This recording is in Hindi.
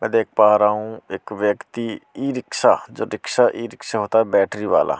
मैं देख पा रहा हूं एक व्यक्ति ई रिक्शा जो रिक्शा ई रिक्शा होता है बैटरी वाला उस।